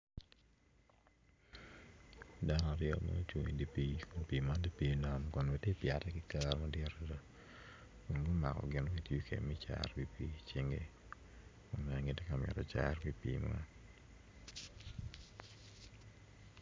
Dano aryo ma gucung i dye pii pii man tye pii nam ma tyeka pyete ki kero madwong madada gumako gin ma cero pii i cingi ma gitye ka mito ki cero ki di pii enoni